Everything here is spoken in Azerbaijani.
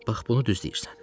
Bax bunu düz deyirsən.